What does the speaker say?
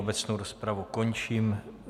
Obecnou rozpravu končím.